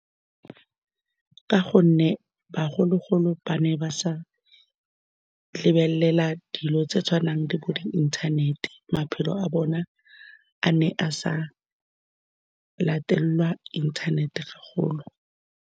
Ka gonne bagolo-golo ba ne ba sa lebelela dilo tse di tshwanang le bo di-inthanet-e, maphelo a bone a ne a sa latelelwa inthanete haholo.